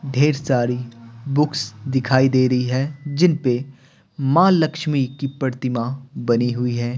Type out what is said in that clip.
ढेर सारी बुक्स दिखाई दे रही है जिन पे मां लक्ष्मी की प्रतिमा बनी हुई है।